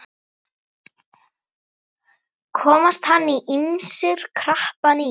Komast hann ýmsir krappan í.